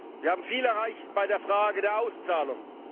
Wir haben viel erreicht bei der Frage der Auszahlung.